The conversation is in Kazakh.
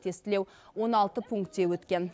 тестілеу он алты пункте өткен